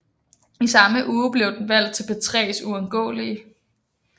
I samme uge blev den valgt til P3s Uundgåelige